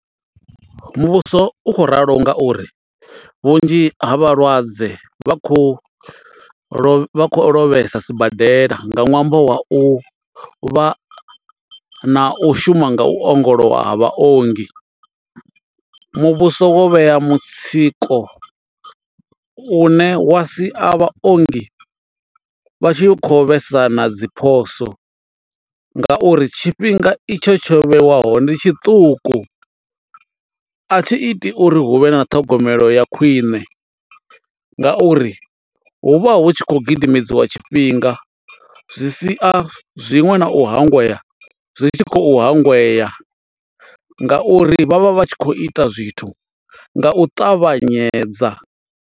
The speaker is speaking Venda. Muvhuso u khou ralo ngauri vhunzhi ha vhalwadze vha khou lovha vha khou lovhesa sibadela nga ṅwambo wa u vha na u shuma nga u ongolowa ha vha ongi. Muvhuso wo vhea mutsiko u ne wa si a vha ongi vha tshi kho vhesa na dzi phoso ngauri tshifhinga itsho tsho vheiwaho ndi tshiṱuku a thi iti uri hu vhe na ṱhogomelo ya khwiṋe nga uri hu vha hu tshi khou gidimedziwa tshifhinga zwi sia zwinwe na u hangwa zwi tshi khou hangwea ngauri vhavha vhatshi kho ita zwithu nga u ṱavhanyedza.